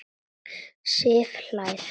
Sif hlær.